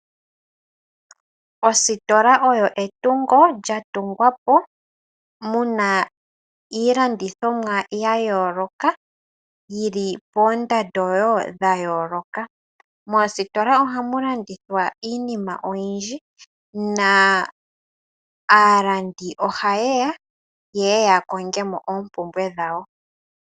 Ositola oyo etungo lya tungwa po mu na iilandithomwa ya yooloka, yi li poondando wo dha yooloka. Moositola ohamu landithwa iinima oyindji na aalandi ohaye ya ye ya konge mo oompumbwe dhawo.